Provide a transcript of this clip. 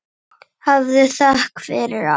Hafðu þökk fyrir allt.